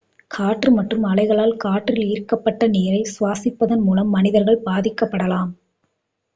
காற்று மற்றும் அலைகளால் காற்றில் ஈர்க்கப்பட்ட நீரை சுவாசிப்பதன் மூலம் மனிதர்கள் பாதிக்கப்படலாம்